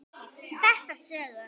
Þessa sögu.